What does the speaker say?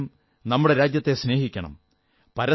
നാമേവരും നമ്മുടെ രാജ്യത്തെ സ്നേഹിക്കണം